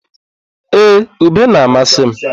Ee, ube na-amasị m.